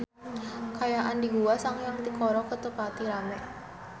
Kaayaan di Gua Sanghyang Tikoro teu pati rame